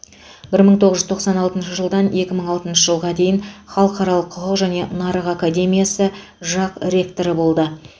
бір мың тоғыз жүз тоқсан алтыншы жылдан екі мың алтыншы жылға дейін халықаралық құқық және нарық академиясы жақ ректоры болды